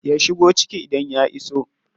Ya shigo ciki idan ya iso.